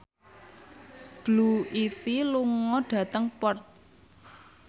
Blue Ivy lunga dhateng Perth